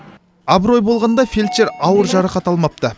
абырой болғанда фельдшер ауыр жарақат алмапты